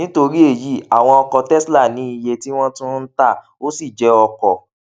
nítorí èyí àwọn ọkọ tesla ní iye tí wọn tún ń tà ó sì jé ọkọ